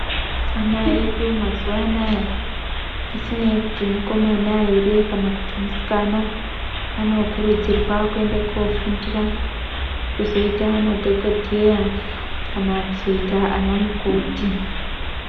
Ana edu mazuwa anaya, zvisinei kuti mukomana ere kana kuti musikana anokurudzirwa kuenda kofundira kuzoita madhokodheya kana kuzoita ana mukoti.